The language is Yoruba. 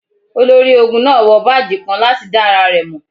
Olori-ogun naa wọ baaji kan lati da ara rẹ mọ.